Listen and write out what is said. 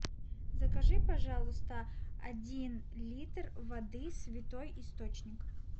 закажи пожалуйста один литр воды святой источник